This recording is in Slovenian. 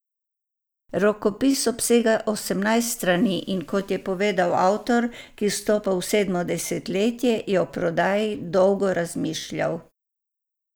Rokopis obsega osemnajst strani, in kot je povedal avtor, ki vstopa v sedmo desetletje, je o prodaji dolgo razmišljal.